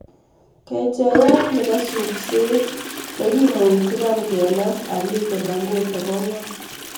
Kecheiyat nebo supset nekimui Trump kename Aliko Dangote ko ng'o?